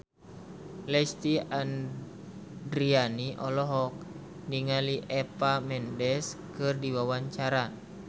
Lesti Andryani olohok ningali Eva Mendes keur diwawancara